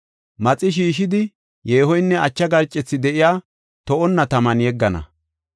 Maxi shiishidi yeehoynne acha garcethi de7iya to7onna taman yeggana.